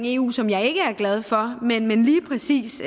eu som jeg ikke er glad for men lige præcis